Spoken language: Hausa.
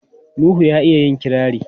Nuhu ya iya yin kirari.